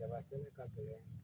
Daba sɛnɛ ka gɛlɛn